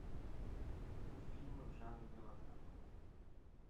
фильмы в жанре мелодрама